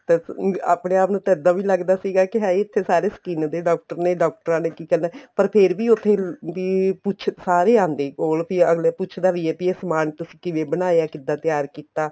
ਤੇ ਆਪਣੇ ਆਪ ਨੂੰ ਇਹਦਾ ਵੀ ਲੱਗਦਾ ਸੀਗਾ ਹਾਏ ਇੱਥੇ ਸਾਰੇ skin ਦੇ doctor ਨੇ ਡਾਕਟਰਾਂ ਨੇ ਕੀ ਕਰਨਾ ਪਰ ਫ਼ੇਰ ਵੀ ਉੱਥੇ ਵੀ ਸਾਰੇ ਆਦੇ ਵੀ ਕੋਲ ਵੀ ਅੱਗਲਾ ਪੁੱਛਦਾ ਵੀ ਏ ਵੀ ਇਹ ਸਮਾਨ ਤੁਸੀਂ ਕਿਵੇਂ ਬਣਾਇਆ ਕਿੱਦਾ ਤਿਆਰ ਕੀਤਾ